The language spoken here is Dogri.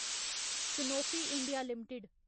Sanofi India limited